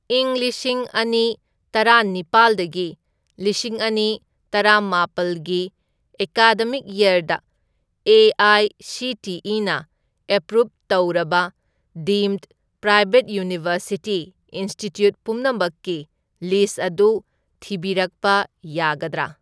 ꯢꯪ ꯂꯤꯁꯤꯡ ꯑꯅꯤ ꯇꯔꯦꯅꯤꯄꯥꯜꯗꯒꯤ ꯂꯤꯁꯤꯡ ꯑꯅꯤ ꯇꯔꯥꯃꯥꯄꯜꯒꯤ ꯑꯦꯀꯥꯗꯃꯤꯛ ꯌꯔꯗ ꯑꯦ.ꯑꯥꯏ.ꯁꯤ.ꯇꯤ.ꯏ.ꯅ ꯑꯦꯄ꯭ꯔꯨꯞ ꯇꯧꯔꯕ ꯗꯤꯝꯗ ꯄ꯭ꯔꯥꯏꯚꯦꯠ ꯌꯨꯅꯤꯚꯔꯁꯤꯇꯤ ꯏꯟꯁꯇꯤꯇ꯭ꯌꯨꯠ ꯄꯨꯝꯅꯃꯛꯀꯤ ꯂꯤꯁ꯭ꯠ ꯑꯗꯨ ꯊꯤꯕꯤꯔꯛꯄ ꯌꯥꯒꯗ꯭ꯔꯥ?